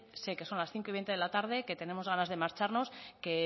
sé que son las cinco y veinte de la tarde que tenemos ganas de marcharnos que